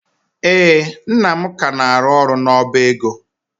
Ee, nna m ka na-arụ ọrụ n'ọba ego.